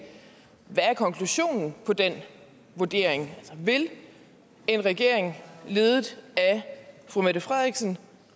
hvad er konklusionen på den vurdering vil en regering ledet af fru mette frederiksen